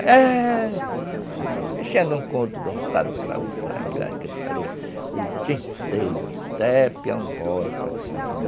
Mexendo um com o outro, dançando para o outro, aquela gritaria o dia inteiro, até piar um bolo para cá.